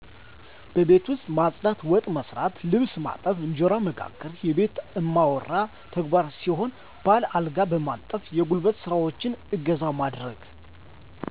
የቤት ማፅዳት፣ ወጥ መሥራት፣ ልብስ ማጠብ፣ እንጀራ መጋገር የቤቱ እማወራ ተግባር ሲሆን ባል አልጋ በማንጠፍ የጉልበት ስራዎችን እገዛ ማድረግ